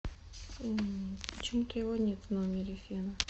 почему то его нет в номере фена